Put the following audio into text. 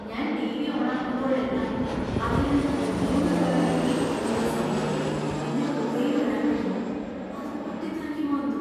ഞാൻ ടി.വി. ഓണാക്കുമ്പോഴെല്ലാം അതിൽ നിന്നു മൂന്ന് തവണ ബീപ്പ് എന്നൊരു സൗണ്ടും, പിന്നെ പുകയും വരാൻ തുടങ്ങും. അത്പൊട്ടിത്തെറിക്കുമോ എന്തോ!